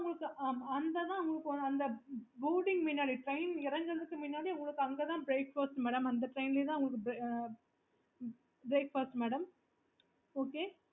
உங்களுக்கு அந்த train எறங்குறதுக்கு முன்னாடி அங்க தான் breakfast madam அந்த train லேயே தான் உங்களுக்கு breakfast madam okay